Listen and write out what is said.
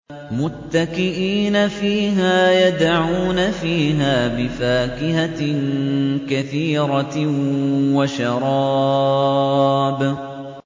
مُتَّكِئِينَ فِيهَا يَدْعُونَ فِيهَا بِفَاكِهَةٍ كَثِيرَةٍ وَشَرَابٍ